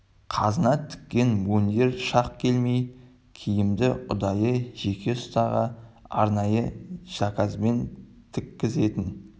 қазына тіккен мундир шақ келмей киімді ұдайы жеке ұстаға арнайы заказбен тіккізетін